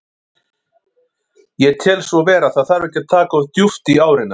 Ég tel svo vera, það þarf ekki að taka of djúpt í árina.